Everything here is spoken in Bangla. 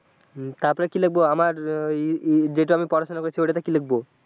তারপরে কি লিখব আমার ই ই যেইটা আমি পড়াশোনা করছি ওইটাতে কি লিখব?